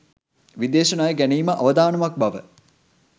විදේශ ණය ගැනීම අවදානමක් බව